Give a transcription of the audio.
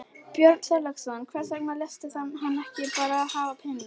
Björn Þorláksson: Hvers vegna léstu hann ekki bara hafa peninginn?